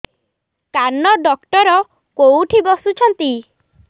କାନ ଡକ୍ଟର କୋଉଠି ବସୁଛନ୍ତି